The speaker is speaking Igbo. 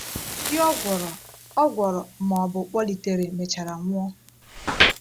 Ndị ọ gwọrọ ọ gwọrọ ma ọ bụ kpọlitere mechara nwụọ.